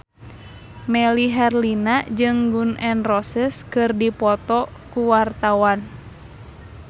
Melly Herlina jeung Gun N Roses keur dipoto ku wartawan